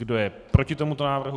Kdo je proti tomuto návrhu?